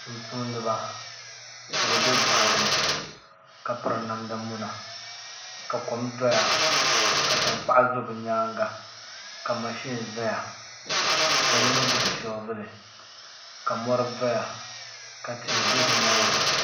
Tumtumdiba ka bi bɛ boɣali ni ka piri namda muna ka kom doya ka tankpaɣu do bi nyaanga ka mashin ʒɛya ka yino gbubi shoovuli ka mori doya ka tihi bɛ bi nyaanga